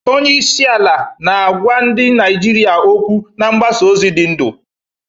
Onye isi ala na-agwa ndị Naijiria okwu na mgbasa ozi dị ndụ